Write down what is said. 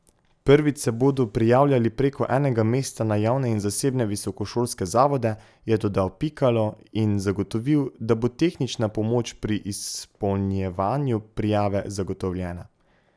Prvič se bodo prijavljali preko enega mesta na javne in zasebne visokošolske zavode, je dodal Pikalo in zagotovil, da bo tehnična pomoč pri izpolnjevanju prijave zagotovljena.